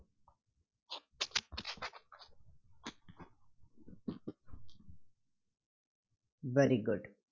Very good